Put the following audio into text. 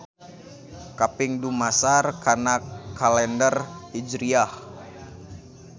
Kaping dumasar kana kalender Hijriah.